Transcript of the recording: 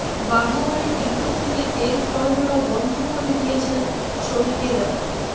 বাঘাবাড়ী depot থেকে তেল সরবরাহ বন্ধ করে দিয়েছেন শ্রমিকেরা